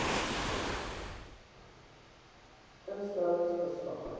instel lings verslag